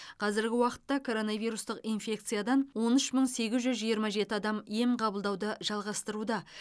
қазіргі уақытта коронавирустық инфекциядан он үш мың сегіз жүз жиырма жеті адам ем қабылдауды жалғастыруда